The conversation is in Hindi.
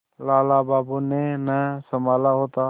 लाला बाबू ने न सँभाला होता